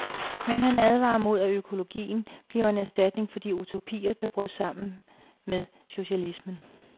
Men han advarer mod, at økologien bliver en erstatning for de utopier, der brød sammen med socialismen.